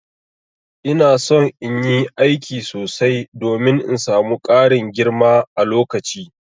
Ina son in yi aiki sosai domin in samu Karin girma a lokaci.